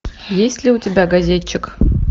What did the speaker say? есть ли у тебя газетчик